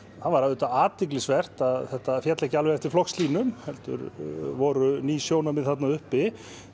var auðvitað athyglisvert að þetta féll ekki alveg eftir flokkslínum heldur voru ný sjónarmið þarna uppi